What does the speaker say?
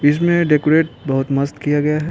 इसमें डेकोरेट बोहोत मस्त किया गया है।